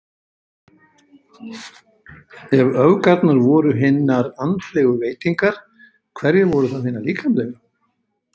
Ef öfgarnar voru hinar andlegu veitingar, hverjar voru þá hinar líkamlegu?